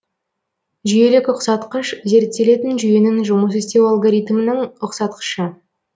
жүйелік ұқсатқыш зерттелетін жүйенің жұмыс істеу алгоритмінің ұқсатқышы